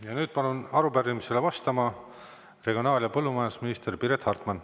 Ja nüüd palun arupärimisele vastama regionaal‑ ja põllumajandusminister Piret Hartmani.